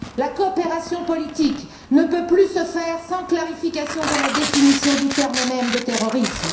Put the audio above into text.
La coopération politique ne peut plus se poursuivre sans une clarification de la définition du terme même de terrorisme.